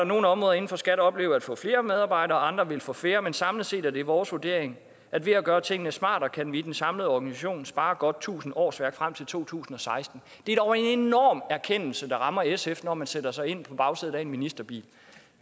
nogle områder inden for skat vil opleve at få flere medarbejdere mens andre vil få færre men samlet set er det vores vurdering at ved at gøre tingene smartere kan vi i den samlede organisation spare godt tusind årsværk frem til to tusind og seksten er dog en enorm erkendelse der rammer sf når man sætter sig ind på bagsædet af en ministerbil